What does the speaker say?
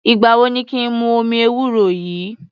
Ìgbà wo ni kí n mu omi ewúro yìí?